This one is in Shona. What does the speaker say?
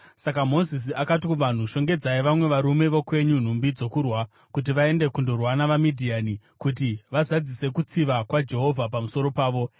Saka Mozisi akati kuvanhu, “Shongedzai vamwe varume vokwenyu nhumbi dzokurwa kuti vaende kundorwa navaMidhiani kuti vazadzise kutsiva kwaJehovha pamusoro pavo.